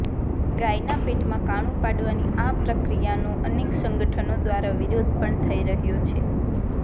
ગાયના પેટમાં કાણું પાડવાની આ પ્રક્રિયાનો અનેક સંગઠનો દ્વારા વિરોધ પણ થઈ રહ્યો છે